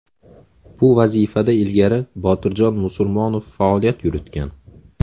Bu vazifada ilgari Botirjon Musurmonov faoliyat yuritgan.